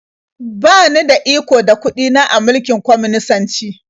Ba ni da iko da kuɗi na a mulkin kwaminisanci.